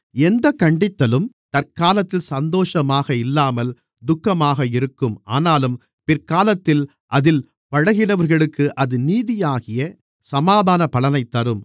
எந்தக் கண்டித்தலும் தற்காலத்தில் சந்தோஷமாக இல்லாமல் துக்கமாக இருக்கும் ஆனாலும் பிற்காலத்தில் அதில் பழகினவர்களுக்கு அது நீதியாகிய சமாதான பலனைத் தரும்